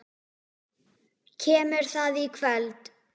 Kemur það í kvöld?